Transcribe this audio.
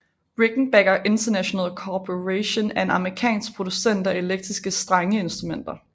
Rickenbacker International Corporation er en amerikansk producent af elektriske strengeinstrumenter